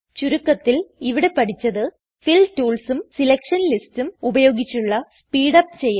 ചുരുക്കത്തിൽ ഇവിടെ പഠിച്ചത് ഫിൽ ടൂൾസും സെലക്ഷൻ ലിസ്റ്റ്സും ഉപയോഗിച്ചുള്ള സ്പീഡ് അപ് ചെയ്യൽ